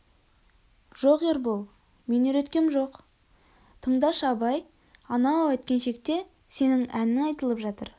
жоқ ербол мен үйреткем жоқ тындашы абай анау әткеншекте сенің әнің айтылып жатыр